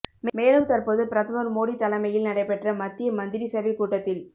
மேலும் தற்போது பிரதமர் மோடி தலைமையில் நடைபெற்ற மத்திய மந்திரிசபை கூட்டத்தில்